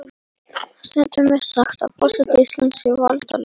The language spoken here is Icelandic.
Stundum er sagt að forseti Íslands sé valdalaus.